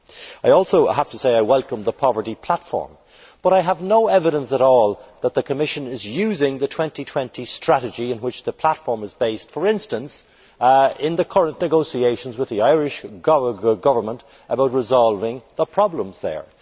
I also welcome the poverty platform, but I have no evidence at all that the Commission is using the 2020 strategy on which the platform is based, for instance, in the current negotiations with the Irish Government about resolving the problems there.